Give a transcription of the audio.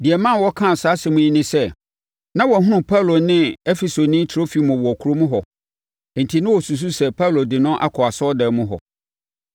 Deɛ ɛma wɔkaa saa asɛm yi ne sɛ, na wɔahunu Paulo ne Efesoni Trofimo wɔ kurom hɔ, enti na wɔsusu sɛ Paulo de no akɔ asɔredan mu hɔ.